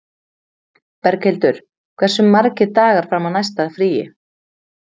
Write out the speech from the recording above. Berghildur, hversu margir dagar fram að næsta fríi?